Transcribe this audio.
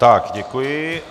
Tak děkuji.